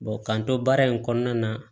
k'an to baara in kɔnɔna na